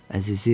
Əzizim.